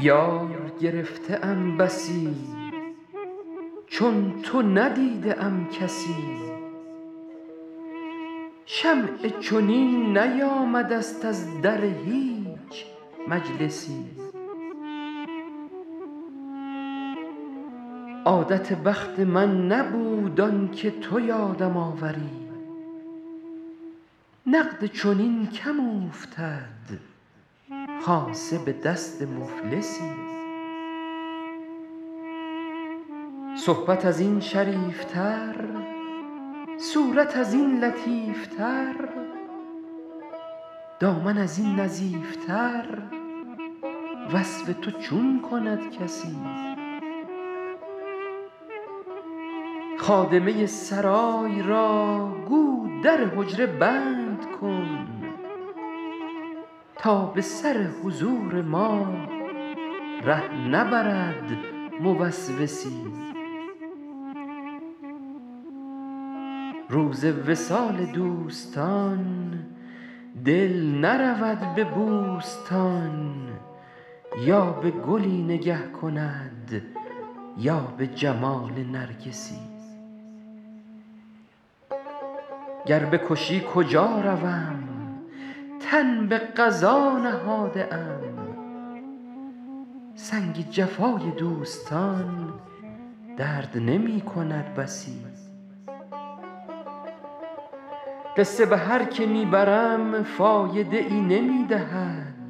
یار گرفته ام بسی چون تو ندیده ام کسی شمعی چنین نیامده ست از در هیچ مجلسی عادت بخت من نبود آن که تو یادم آوری نقد چنین کم اوفتد خاصه به دست مفلسی صحبت از این شریف تر صورت از این لطیف تر دامن از این نظیف تر وصف تو چون کند کسی خادمه سرای را گو در حجره بند کن تا به سر حضور ما ره نبرد موسوسی روز وصال دوستان دل نرود به بوستان یا به گلی نگه کند یا به جمال نرگسی گر بکشی کجا روم تن به قضا نهاده ام سنگ جفای دوستان درد نمی کند بسی قصه به هر که می برم فایده ای نمی دهد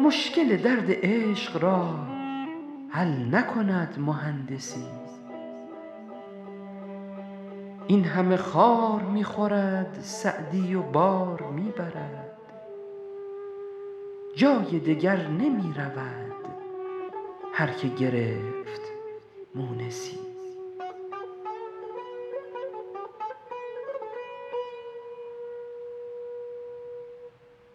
مشکل درد عشق را حل نکند مهندسی این همه خار می خورد سعدی و بار می برد جای دگر نمی رود هر که گرفت مونسی